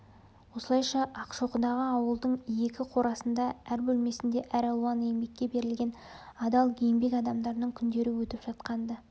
осылайша ақшоқыдағы ауылдың екі қорасында әр бөлмесінде әралуан еңбекке берілген адал еңбек адамдарының күндері өтіп жатқан-ды